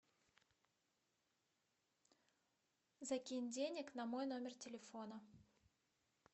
закинь денег на мой номер телефона